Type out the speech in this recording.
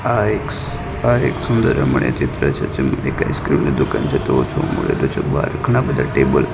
આ એક સ્ આ એક સુંદર રમણીય ચિત્ર છે જેમાં એક આઈસક્રીમ ની દુકાન છે મળેલું છે બાર ઘણા બધા ટેબલ --